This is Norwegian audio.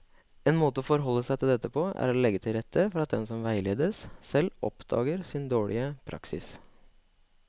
En måte å forholde seg til dette på er å legge til rette for at den som veiledes, selv oppdager sin dårlige praksis.